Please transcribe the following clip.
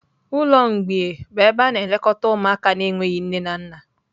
ụlọ mgbei bụ ebe a na-elekọta ụmụaka na-enweghị nne na nna.